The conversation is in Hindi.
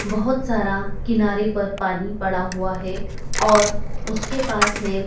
बहोत सारा किनारे पर पानी पड़ा हुआ है और उसके पास में--